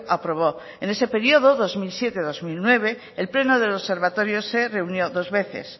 aprobó en ese periodo dos mil siete dos mil nueve el pleno del observatorio se reunió dos veces